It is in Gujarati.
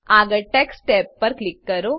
આગળ ટેક્સ્ટ ટેબ પર ક્લિક કરો